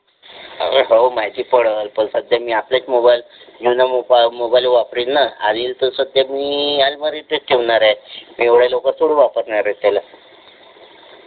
अरे हो माहिती पडेल पण सध्या मी आपलाच मोबाइल जुना मोबाइल वापरल हा घेईन तर सध्या मी अलमारीतच ठेवणार आहे एवढ्या लवकर थोडी वापरणार आहे त्याला.